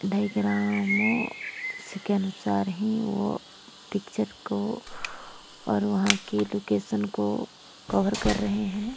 डायग्रामो के अनुसार ही वो पिक्चर को और वहां के लोकेशन को कवर कर रहे हैं।